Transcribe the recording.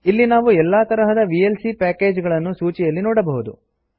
ಇಲ್ಲಿ ನಾವು ಎಲ್ಲಾ ತರಹದ ವಿಎಲ್ಸಿ ಪ್ಯಾಕೇಜ್ ಗಳನ್ನು ಸೂಚಿಯಲ್ಲಿ ನೋಡಬಹುದು